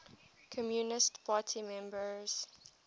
communist party members